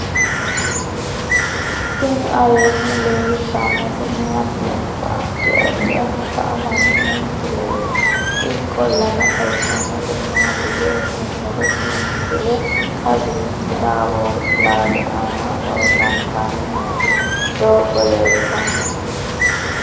tini aleenni leeltannoti maati yiniro addi addi akata amaddino misileeti ikkollana xawissannori maatiyya yinummoro tini misile kawiichi tabori ilaali aana loosantanni nooti doogo leeltannoe